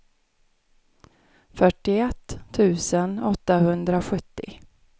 fyrtioett tusen åttahundrasjuttio